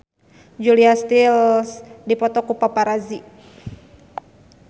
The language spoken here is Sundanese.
Julia Stiles dipoto ku paparazi